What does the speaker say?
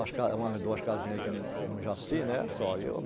Umas duas casinhas aqui no Jaci, né?